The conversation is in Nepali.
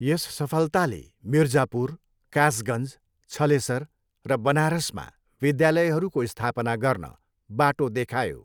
यस सफलताले मिर्जापुर, कासगन्ज, छलेसर र बनारसमा विद्यालयहरूको स्थापना गर्न बाटो देखायो।